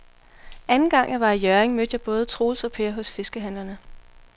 Anden gang jeg var i Hjørring, mødte jeg både Troels og Per hos fiskehandlerne.